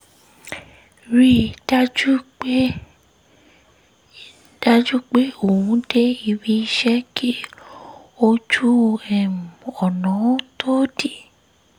rí i dájú pé i dájú pé òun dé ibi iṣẹ́ kí ojú um ọ̀nà um tó dí